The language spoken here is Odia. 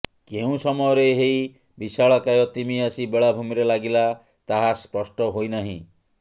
କେଉଁ ସମୟରେ ଏହି ବିଶାଳକାୟ ତିମି ଆସି ବେଳାଭୂମିରେ ଲାଗିଲା ତାହା ସ୍ପଷ୍ଟ ହୋଇନାହିଁ